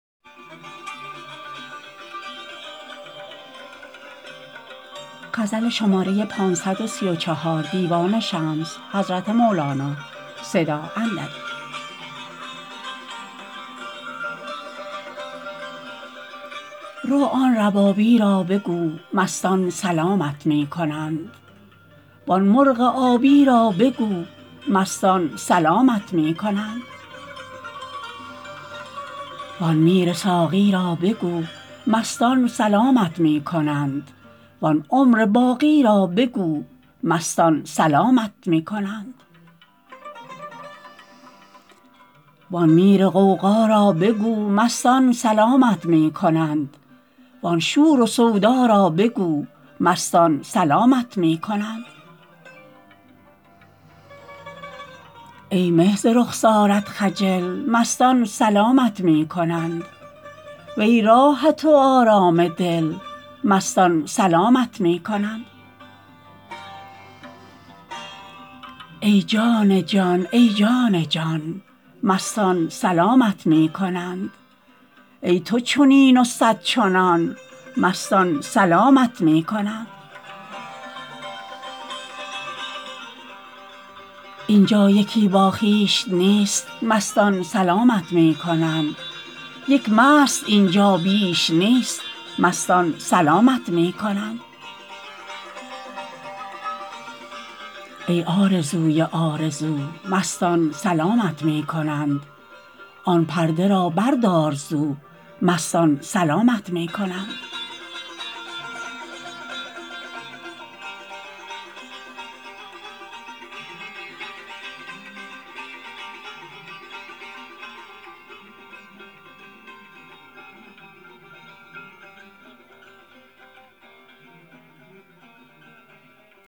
رو آن ربابی را بگو مستان سلامت می کنند وان مرغ آبی را بگو مستان سلامت می کنند وان میر ساقی را بگو مستان سلامت می کنند وان عمر باقی را بگو مستان سلامت می کنند وان میر غوغا را بگو مستان سلامت می کنند وان شور و سودا را بگو مستان سلامت می کنند ای مه ز رخسارت خجل مستان سلامت می کنند وی راحت و آرام دل مستان سلامت می کنند ای جان جان ای جان جان مستان سلامت می کنند ای تو چنین و صد چنان مستان سلامت می کنند این جا یکی با خویش نیست مستان سلامت می کنند یک مست این جا بیش نیست مستان سلامت می کنند ای آرزوی آرزو مستان سلامت می کنند آن پرده را بردار زو مستان سلامت می کنند